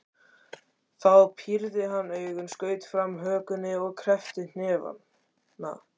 Þá pírði hann augun, skaut fram hökunni og kreppti hnefana.